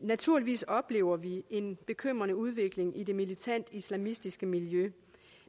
naturligvis oplever vi en bekymrende udvikling i det militant islamistiske miljø